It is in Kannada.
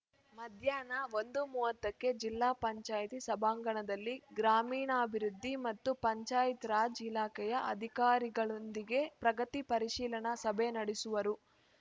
ಮಧ್ಯಾಹ್ನ ಒಂದು ಮೂವತ್ತಕ್ಕೆ ಜಿಲ್ಲಾ ಪಂಚಾಯತಿ ಸಭಾಂಗಣದಲ್ಲಿ ಗ್ರಾಮೀಣಾಭಿವೃದ್ಧಿ ಮತ್ತು ಪಂಚಾಯತ್‌ರಾಜ್‌ ಇಲಾಖೆಯ ಅಧಿಕಾರಿಗಳೊಂದಿಗೆ ಪ್ರಗತಿ ಪರಿಶೀಲನಾ ಸಭೆ ನಡೆಸುವರು